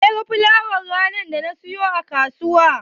Wanene ya ga fulawar ranar da na siyo a kasuwa?